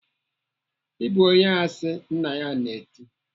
"I bụ onye asị!" Nna ya na-eti.